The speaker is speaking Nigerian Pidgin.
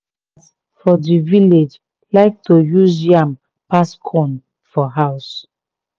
for di village like to use yam pass corn for house